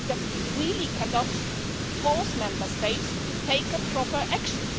We really cannot force Member States to take proper action.